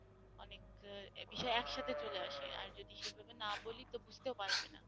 অনেক বিষয় একসাথে চলে আসে আর যদি সেভাবে না বলিতো বুঝতেও পারবেনা।